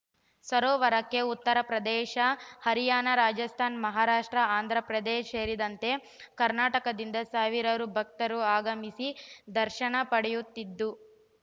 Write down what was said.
ಸರೋವರಕ್ಕೆ ಉತ್ತರ ಪ್ರದೇಶ ಹರಿಯಾಣ ರಾಜಸ್ಥಾನ ಮಹಾರಾಷ್ಟ್ರ ಆಂಧ್ರ ಪ್ರದೇಶ್ ಸೇರಿದಂತೆ ಕರ್ನಾಟಕದಿಂದ ಸಾವಿರಾರು ಭಕ್ತರು ಆಗಮಿಸಿ ದರ್ಶನ ಪಡೆಯುತ್ತಿದ್ದು